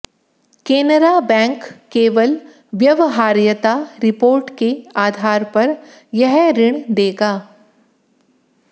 केनरा बैंक केवल व्यावहार्यता रिपोर्ट के आधार पर यह ऋण देगा